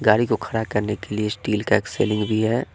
गाड़ी को खड़ा करने के लिए स्टील का एक सीलिंग भी है।